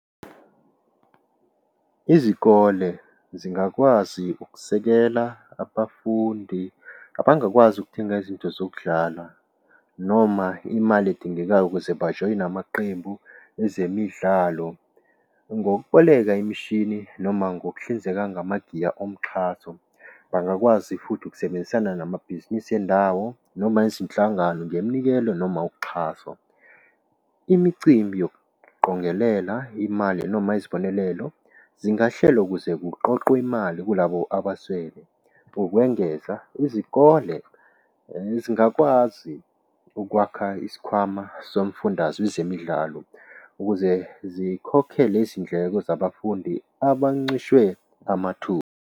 Izikole zingakwazi ukusekela abafundi abangakwazi ukuthenga izinto zokudlala noma imali edingekayo ukuze bajoyine amaqembu ezemidlalo. Ngokuboleka imishini noma ngokuhlinzeka nganagiya omxhaso. Bangakwazi futhi ukusebenzisana namabhizinisi endawo noma izinhlangano ngemnikelo noma uxhaso. Imicimbi yokuqongelela imali noma izibonelelo zingahlelwa ukuze kuqoqwe imali kulabo abaswele ngokwengeza izikole zingakwazi ukwakha isikhwama somfundazwe zemidlalo ukuze zikhokhe lezi ndleko zabafundi abancishwe amathuba.